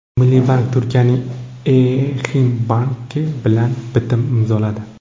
Milliy bank Turkiyaning Eximbank’i bilan bitim imzoladi.